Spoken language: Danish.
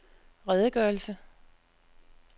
redegørelse